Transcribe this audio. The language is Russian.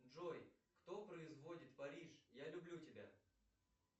джой кто производит париж я люблю тебя